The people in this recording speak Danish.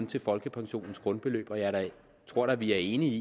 til folkepensionens grundbeløb og jeg tror da at vi er enige